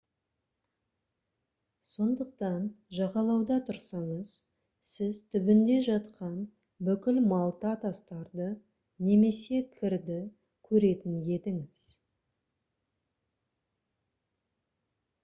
сондықтан жағалауда тұрсаңыз сіз түбінде жатқан бүкіл малта тастарды немесе кірді көретін едіңіз